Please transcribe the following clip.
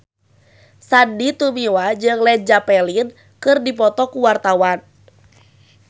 Sandy Tumiwa jeung Led Zeppelin keur dipoto ku wartawan